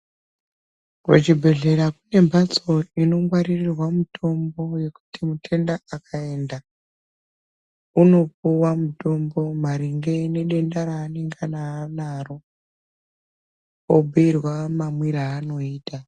Kuchibhedhlera kune mhatso inongwarirwa mitombo yekuti mutenda kaenda onopiwa mutombo maringe nedenda reanenge anaro, obhiirwa mamwire aanoita.